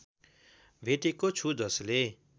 भेटेको छु जसले